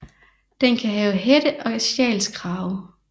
Den kan have hætte og sjalskrave